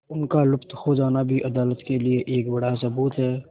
उनका लुप्त हो जाना भी अदालत के लिए एक बड़ा सबूत है